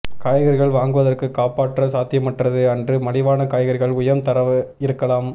காய்கறிகள் வாங்குவதற்கு காப்பாற்ற சாத்தியமற்றது அன்று மலிவான காய்கறிகள் உயர் தர இருக்கலாம்